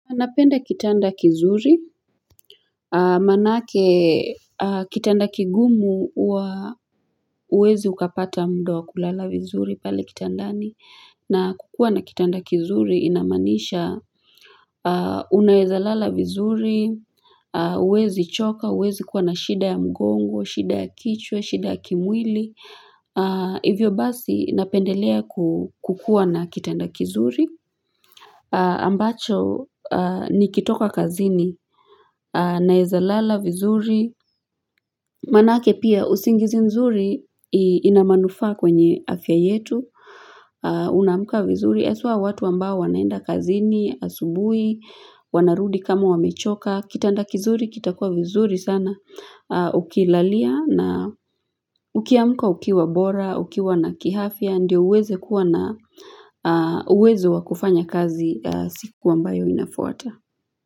Napenda kitanda kizuri, manake kitanda kigumu huwa huwezi ukapata muda wa kulala vizuri pale kitandani, na kukuwa na kitanda kizuri inamaanisha unaweza lala vizuri, huwezi choka, huwezi kuwa na shida ya mgongo, shida ya kichwa, shida ya kimwili, hivyo basi napendelea kukuwa na kitanda kizuri. Ambacho nikitoka kazini naweza lala vizuri manake pia usingizi nzuri inamanufaa kwenye afya yetu unamka vizuri eswa watu ambao wanaenda kazini asubuhi wanarudi kama wamechoka, kitanda kizuri kitakuwa vizuri sana ukilalia na ukiamka ukiwa bora, ukiwa na kihafia ndio uweze kuwa na uwezo wakufanya kazi siku ambayo inafuata.